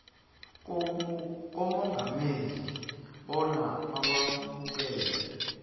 kumongameli bona awamukele